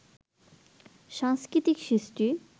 সাংস্কৃতিক সৃষ্টি